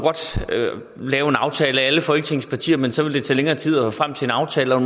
lave en aftale mellem alle folketingets partier men så ville det tage længere tid at nå frem til en aftale og